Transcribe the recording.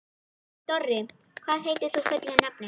Dorri, hvað heitir þú fullu nafni?